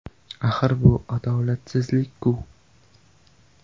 Axir bu adolatsizlik-ku!